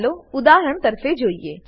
ચાલો ઉદાહરણ તરફે જોઈએ